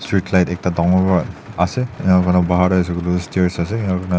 backlight ekta dangor vra ase ena kuna bahar de ase koile stairs ase.